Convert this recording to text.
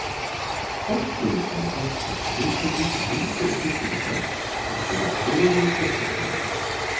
Forstöðukonu þorpsins hugkvæmdist að hringja í kirkjuna okkar og spyrjast fyrir um fósturforeldra.